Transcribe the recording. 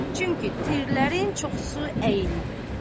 Çünki tirlərin çoxu əyilib.